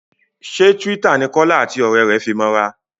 ṣe Twitter ní Kola àti òré rẹ fí mọ ra?